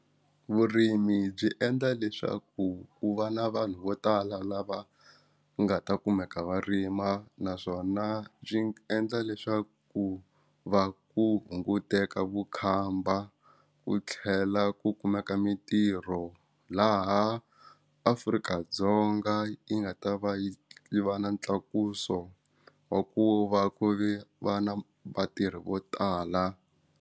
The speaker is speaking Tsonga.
Vurimi byi endla leswaku ku va na vanhu vo tala lava nga ta kumeka va rima naswona byi endla leswaku ku va ku hunguteka vukhamba ku tlhela ku kumeka mintirho laha Afrika-Dzonga yi nga ta va yi va na tlakuso wa ku va ku ve vana vatirhi vo tala.